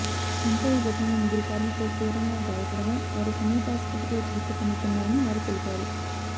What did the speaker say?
ఇంకా ఈ ఘటనలో ముగ్గురు కార్మికులు తీవ్రంగా గాయపడగా వారు సమీప ఆసుపత్రిలో చికిత్స పొందుతున్నారని వారు తెలిపారు